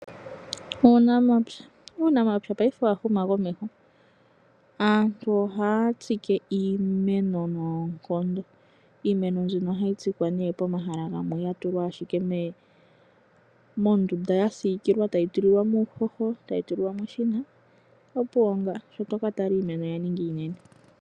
Uunamapya Uunamapya paife owa huma komeho. Aantu ohaya tsike iimeno noonkondo. Iimeno mbino ohayi tsikwa nee pomahala ashike gamwe ga tulwa nee mondunda ya siikilwa tayi tulilwa mo uuhoho tayi tulilwa mo eshina, opuwo nga shi to ka tala iimeno oya ninga iinene.